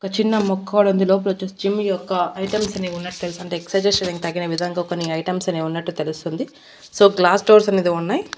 ఒక చిన్న ముక్క కూడా ఉంది లోపల వచ్చేసి జిమ్ యొక్క ఐటమ్స్ అనేవి ఉన్నట్టు తెలుస్తుంది ఎక్సైజ్ చేసేకి తగిన విధంగా కొన్ని ఐటమ్స్ అనేవి ఉన్నట్టు తెలుస్తుంది సో గ్లాస్ డోర్స్ అనేది ఉన్నాయి.